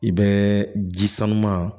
I bɛ ji sanuman